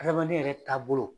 Adamaden yɛrɛ taabolo.